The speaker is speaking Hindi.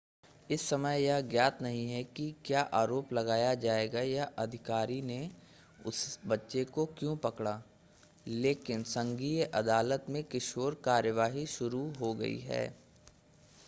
इस समय यह ज्ञात नहीं है कि क्या आरोप लगाया जाएगा या अधिकारियों ने उस बच्चे को क्यों पकड़ा लेकिन संघीय अदालत में किशोर कार्यवाही शुरू हो गई है